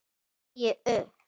Ég segi upp!